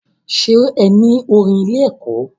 Ṣe ní orin ilé ẹ̀kọ́?